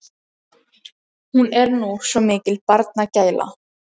Hún er nú svo mikil barnagæla.